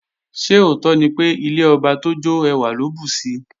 Ṣé òótọ́ ni pé, ilé ọba tó jọ́ ẹwà ló bùsi?